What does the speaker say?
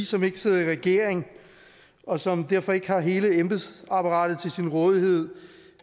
som ikke sidder i regering og som derfor ikke har hele embedsapparatet til sin rådighed